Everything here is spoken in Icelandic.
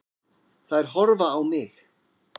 Þær horfa á mig.